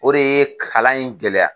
O de ye kalan in gɛlɛya.